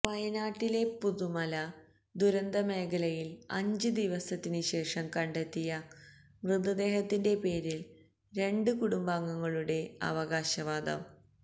വയനാട്ടില പുത്തുമല ദുരന്തമേഖലയില് അഞ്ച് ദിവസത്തിന് ശേഷം കണ്ടെത്തിയ മൃതദേഹത്തിന്റെ പേരിൽ രണ്ട് കുടുംബങ്ങളുടെ അവകാശവാദം